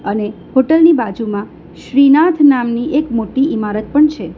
અને હોટલ ની બાજુમાં શ્રીનાથ નામની એક મોટી ઈમારત પણ છે.